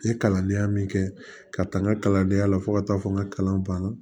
N ye kalandenya min kɛ ka taa n ka kalandenya la fo ka taa fɔ n ka kalan banna